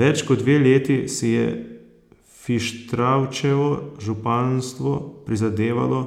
Več kot dve leti si je Fištravčevo županstvo prizadevalo